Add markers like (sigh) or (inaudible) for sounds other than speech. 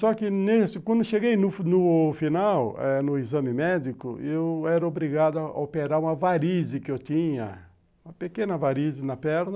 Só que (unintelligible) quando cheguei no final, no exame médico, eu era obrigado a operar uma varize que eu tinha, uma pequena varize na perna.